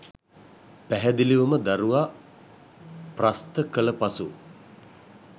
පැහැදිලිවම දරුවා ප්‍රස්ත කළ පසු